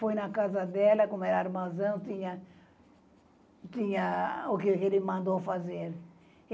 Foi na casa dela, como era armazão, tinha... tinha o que ele mandou fazer.